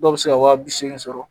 Dɔw bɛ se ka wa bi seegin sɔrɔ